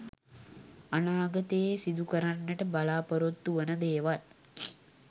අනාගතයේ සිදු කරන්නට බලාපොරොත්තු වන දේවල්